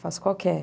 Faço qualquer.